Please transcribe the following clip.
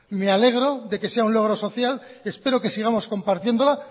me alegro de que sea un logro social espero que sigamos compartiéndola